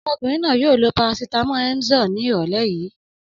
Ọmọkùnrin náà yóò lo parasítámọ̀ Emzor ní ìrọ́lẹ́ yìí.